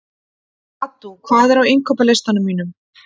Addú, hvað er á innkaupalistanum mínum?